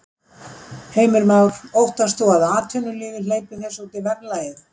Heimir Már: Óttast þú að atvinnulífið hleypir þessu út í verðlagið?